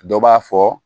Dɔ b'a fɔ